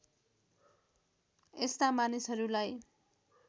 यस्ता मानिसहरूलाई